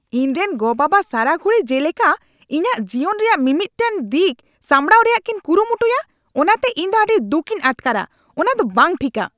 ᱤᱧᱨᱮᱱ ᱜᱚᱼᱵᱟᱵᱟ ᱥᱟᱨᱟ ᱜᱷᱩᱲᱤ ᱡᱮᱞᱮᱠᱟ ᱤᱧᱟᱜ ᱡᱤᱭᱚᱱ ᱨᱮᱭᱟᱜ ᱢᱤᱢᱤᱫᱴᱟᱝ ᱫᱤᱠ ᱥᱟᱸᱵᱲᱟᱣ ᱨᱮᱭᱟᱜ ᱠᱤᱱ ᱠᱩᱨᱩᱢᱩᱴᱩᱭᱟ ᱚᱱᱟᱛᱮ ᱤᱧ ᱫᱚ ᱟᱹᱰᱤ ᱫᱩᱠᱷᱤᱧ ᱟᱴᱠᱟᱨᱼᱟ ᱾ ᱚᱱᱟ ᱫᱚ ᱵᱟᱝ ᱴᱷᱤᱠᱼᱟ ᱾